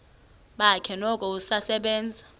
bakhe noko usasebenza